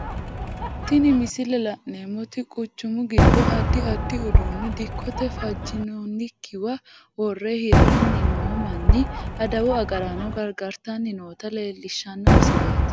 Tinni misilete la'neemoti quchumu gido addi addi uduune dikote fajinoonkiwa wore hiranni noo manna adawu agaraano gargartanni noota leelishano misileeti.